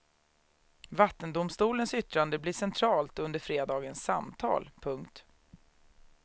Vattendomstolens yttrande blir centralt under fredagens samtal. punkt